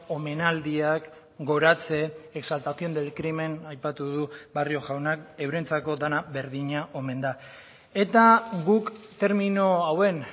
omenaldiak goratze exaltación del crimen aipatu du barrio jaunak eurentzako dena berdina omen da eta guk termino hauen